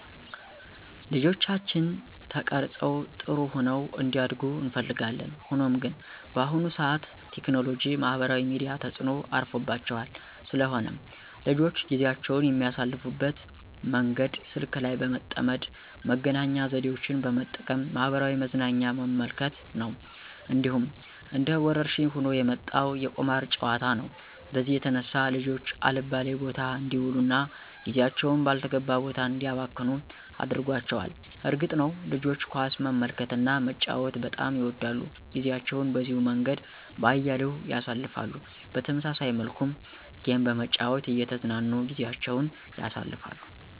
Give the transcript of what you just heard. ልጆቻችን ተቀርፀው ጥሩሆነው እንዲያድጉ እንፈልጋለን። ሆኖም ግን በአሁኑ ሰዓት ቴክኖሎጂ ማህበራዊ ሚዲያ ተጽኖ አርፎባቸዋል። ስለሆነም ልጆች ጊዜአቸውን የሚያሳልፍበት መንገድ ስልክ ላይ በመጠመድ መገናኛ ዘዴወችን በመጠቀም ማህበራዊ መዝናኛ በመመልከት ነው። እንዲሁም እንደ ወረርሽኝ ሆኖ የመጣው የቁማር ጨዋታ ነው በዚህም የተነሳ ልጆች አልባሌ ቦታ አንዲውሉ እና ጊዜአቸውን ባልተገባ ቦታ እንዲያባክኑ አድርጓቸዋል። እርግጥ ነዉ ልጆች ኳስ መመልከትና መጫወት በጣም ይወዳሉ ጊዜአቸውን በዚሁ መንገድ በአያሌው ያሳልፍሉ። በተመሳሳይ መልኩም ጌም በመጨዋት እየተዝናኑ ጊዜአቸውን ያሳልፍሉ።